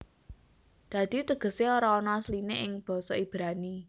Dadi tegesé ora ana asliné ing basa Ibrani